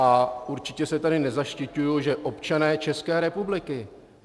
A určitě se tady nezaštiťuji, že občané České republiky.